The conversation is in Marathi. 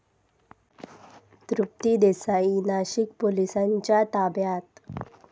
तृप्ती देसाई नाशिक पोलिसांच्या ताब्यात